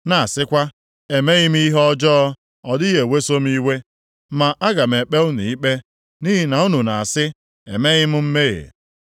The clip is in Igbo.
na-asịkwa, ‘Emeghị m ihe ọjọọ, ọ dịghị eweso m iwe.’ Ma aga m ekpe unu ikpe, nʼihi na unu na-asị, ‘Emeghị m mmehie.’